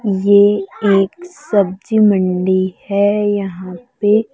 ये एक सब्जी मंडी है यहां पे--